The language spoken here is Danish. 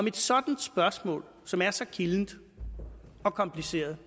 et sådan spørgsmål som er så kildent og kompliceret